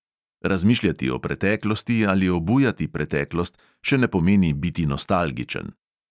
Razmišljati o preteklosti ali obujati preteklost še ne pomeni biti nostalgičen.